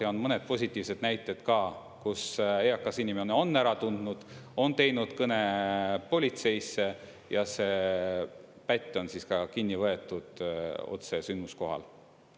Ja on mõned positiivsed näited ka, kus eakas inimene on ära tundnud, on teinud kõne politseisse ja see pätt on siis ka kinni võetud otse sündmuskohal.